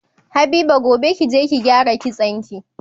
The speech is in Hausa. Habiba gobe kije ki gyara kitson ki